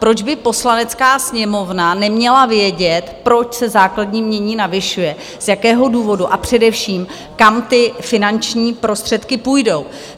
Proč by Poslanecká sněmovna neměla vědět, proč se základní jmění navyšuje, z jakého důvodu a především, kam ty finanční prostředky půjdou?